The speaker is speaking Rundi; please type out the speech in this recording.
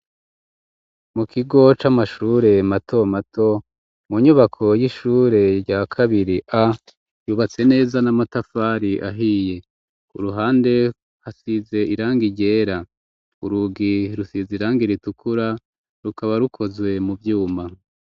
Mu kigo c'amashure, mato mato, mu nyubako y'ishure, rya kabiri A, yubatse neza, n'amatafari ahiye; ku ruhande, hasize irangi ryera; urugi rusize irangi ritukura, rukaba rukozwe mu vyuma.